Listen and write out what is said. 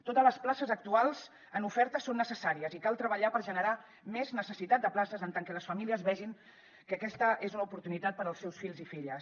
totes les places actuals en oferta són necessàries i cal treballar per generar més necessitat de places per tal que les famílies vegin que aquesta és una oportunitat per als seus fills i filles